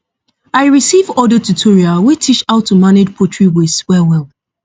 i receive audio tutorial wey teach how to manage poultry waste wellwell